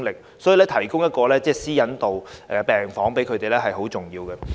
所以，為受害人提供一個有私隱度的病房很重要。